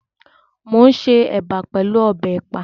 Mo n ṣe ẹ̀bà pẹlú ọbẹ̀ ẹ̀pà.